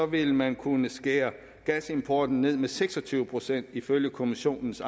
vil man kunne skære gasimporten ned med seks og tyve procent ifølge kommissionens